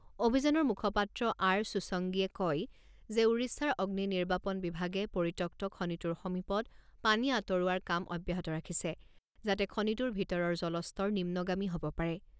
অভিযানৰ মুখপাত্ৰ আৰ চুচংগিয়ে কয় যে ওড়িশাৰ অগ্নিনিৰ্বাপণ বিভাগে পৰিত্যক্ত খনিটোৰ সমীপত পানী আঁতৰোৱাৰ কাম অব্যাহত ৰাখিছে, যাতে খনিটোৰ ভিতৰৰ জলস্তৰ নিম্নগামী হ'ব পাৰে।